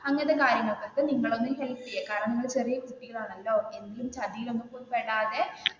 അങ്ങനത്തെ കാര്യങ്ങൾക്ക് ഒക്കെ നിങ്ങളെ ഒന്ന് ഹെല്പ് ചെയ്യുക കാരണം നിങ്ങൾ ചെറിയ കുട്ടികൾ ആണെല്ലോ ഏതെങ്കിലും ചതിയിൽ ഒന്നും പോയി പെടാതെ